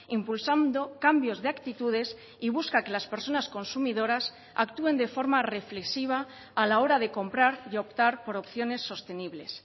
impulsando cambios de actitudes y busca que las personas consumidoras actúen de forma reflexiva a la hora de comprar y optar por opciones sostenibles